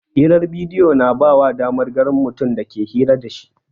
Hirar bidiyo na ba ka damar ganin mutumin da kake hira da shi.